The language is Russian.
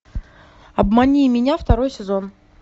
обмани меня второй сезон